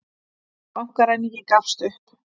Bankaræningi gafst upp